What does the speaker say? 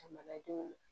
Jamanadenw